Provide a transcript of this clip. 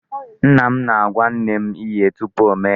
Nna m na-agwa nne m ihe tupu ọ mee ya.